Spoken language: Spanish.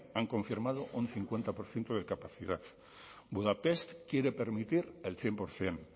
han confirmado un cincuenta por ciento de capacidad budapest quiere permitir el cien por ciento